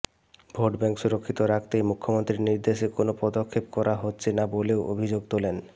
vote bank সুরক্ষিত রাখতেই মুখ্যমন্ত্রীর নির্দেশে কোনও পদক্ষেপ করা হচ্ছে না বলেও অভিযোগ তোলেন